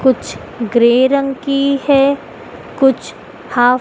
कुछ ग्रे रंग की है कुछ हॉफ --